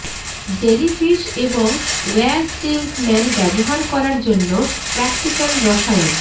jellyfish এবং war stings man ব্যবহার করার জন্য প্রাকটিক্যাল রসায়ন